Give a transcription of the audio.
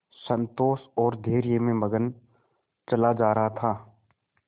संतोष और धैर्य में मगन चला जा रहा था